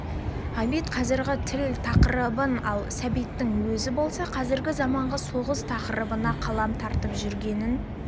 ғабит қазіргі тыл тақырыбын ал сәбиттің өзі болса қазіргі заманғы соғыс тақырыбына қалам тартып жүргенін